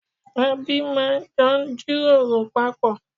Ẹbí máa jọ ń jíròrò papọ̀